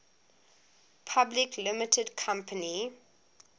public limited company